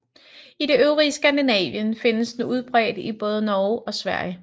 I det øvrige Skandinavien findes den udbredt i både Norge og Sverige